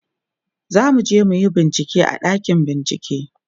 zamuje muyi bincike a ɗakin bincike